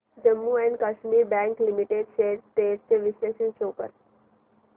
Jammu and Kashmir bank limited shares trends चे विश्लेषण show कर